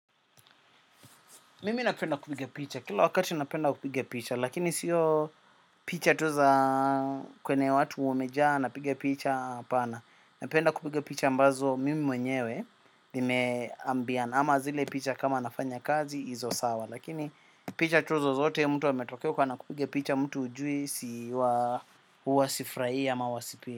Mimi napenda kupiga picha, kila wakati napenda kupiga picha, lakini siyo picha tu za kwenye watu wamejaa napiga picha hapana. Napenda kupiga picha ambazo mimi mwenyewe, nimeambiana ama zile picha kama nafanya kazi izo sawa. Lakini picha tu zozote mtu ametokea huko anakupiga picha mtu hujui siwa huwasifurahi ama huwa sipendi.